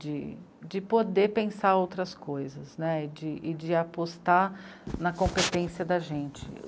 de, de poder pensar outras coisas e de, de apostar na competência da gente.